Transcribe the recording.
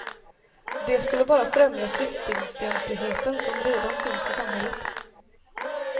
Det skulle bara främja flyktingfientligheten som redan finns i samhället.